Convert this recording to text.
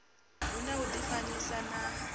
hu na u difanyisa na